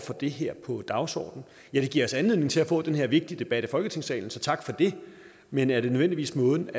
det her på dagsordenen ja det giver anledning til at vi får den her vigtige debat i folketingssalen så tak for det men er det nødvendigvis måden